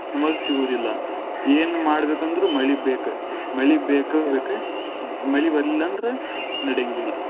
ನಮಗ ಸಿಗುವುದಿಲ್ಲ ಏನ್ ಮಾಡಬೇಕಂದ್ರೂ ಮಳಿ ಬೇಕ ಮಳಿ ಬೇಕ ಬೇಕ ಮಳಿ ಬರ್ಲಿಲ್ಲ ಅಂದ್ರ ನಡೆಯಂಗಿಲ್ಲ.